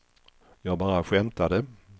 jag bara skämtade